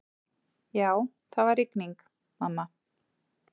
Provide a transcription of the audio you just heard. Já, það var rigning, mamma.